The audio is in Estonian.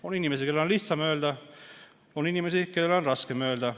On inimesi, kellel on lihtsam ei öelda, ja on inimesi, kellel on raskem ei öelda.